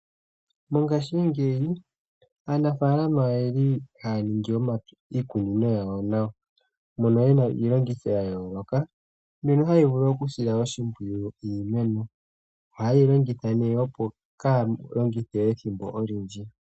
Mongashingeyi Aanafaalama oyeli haya ningi iikunino yawo nawa, moka muna iilongitho yayooloka mbyoka hayi vulu okusila oshimpwiyu iimeno, ohayeyi longitha ne opo kaya longithe ethimbo olindji.